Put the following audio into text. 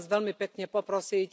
Chcem vás veľmi pekne poprosiť.